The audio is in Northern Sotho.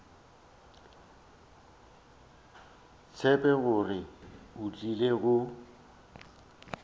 tsebe gore o tlile go